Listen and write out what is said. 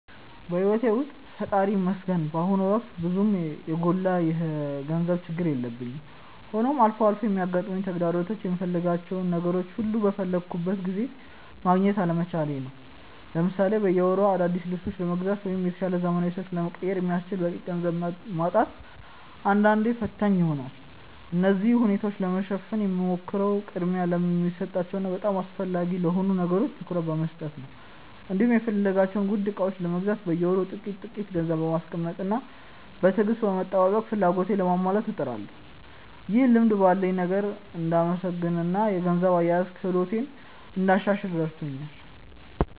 በሕይወቴ ውስጥ ፈጣሪ ይመስገን በአሁኑ ወቅት ብዙም የጎላ የገንዘብ ችግር የለብኝም፤ ሆኖም አልፎ አልፎ የሚገጥሙኝ ተግዳሮቶች የምፈልጋቸውን ነገሮች ሁሉ በፈለግኩት ጊዜ ማግኘት አለመቻሌ ነው። ለምሳሌ በየወሩ አዳዲስ ልብሶችን ለመግዛት ወይም የተሻለ ዘመናዊ ስልክ ለመቀየር የሚያስችል በቂ ገንዘብ ማጣት አንዳንዴ ፈታኝ ይሆናል። እነዚህን ሁኔታዎች ለማሸነፍ የምሞክረው ቅድሚያ ለሚሰጣቸው እና በጣም አስፈላጊ ለሆኑ ነገሮች ትኩረት በመስጠት ነው፤ እንዲሁም የምፈልጋቸውን ውድ ዕቃዎች ለመግዛት በየወሩ ጥቂት ጥቂት ገንዘብ በማስቀመጥና በትዕግስት በመጠባበቅ ፍላጎቶቼን ለማሟላት እጥራለሁ። ይህ ልማድ ባለኝ ነገር እንድመሰገንና የገንዘብ አያያዝ ክህሎቴን እንዳሻሽል ረድቶኛል።